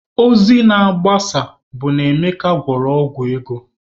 Ozi na-agbasa bụ na Emeka gwọrọ ọgwụ ego